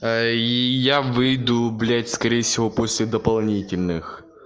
я выйду блядь гулять скорее всего после дополнительных